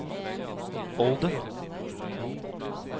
Olden